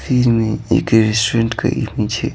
फिर में एक रेस्टोरेंट का इमेज है।